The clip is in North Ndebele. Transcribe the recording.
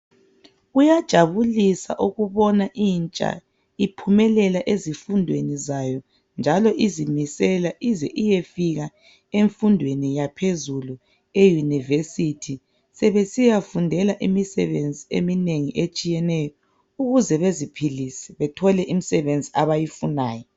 Kuyajabulisa ukubona intsha iphumelela ezifundweni zayo, njalo izimisela ize iyefika emfundweni yaphezulu, eyunivesithi, sebesiyafundela imisebenzi eminengi etshiyeneyo ukuze beziphilise bethole imisebenzi abayifunayo.